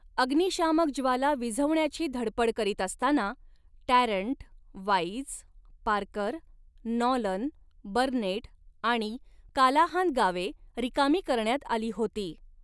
अग्निशामक ज्वाला विझवण्याची धडपड करीत असताना Tarrant, Wise, Parker, Nolan, Burnett आणि कालाहान गावे रिकामी करण्यात आली होती.